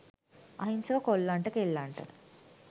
අහිංසක කොල්ලන්ට කෙල්ලන්ට